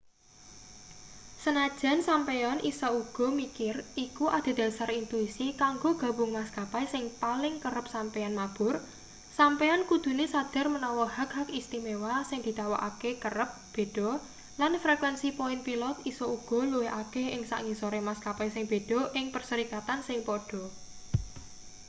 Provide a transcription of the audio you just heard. sanajan sampeyan isa uga mikir iku adhedhasar intuisi kanggo gabung maskapai sing paling kerep sampeyan mabur sampeyan kudune sadar menawa hak-hak istimewa sing ditawakake kerep beda lan frekuensi poin pilot isa uga luwih akeh ing sangisore maskapai sing beda ing perserikatan sing pada